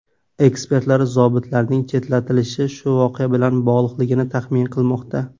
Ekspertlar zobitlarning chetlatilishi shu voqea bilan bog‘liqligini taxmin qilmoqda.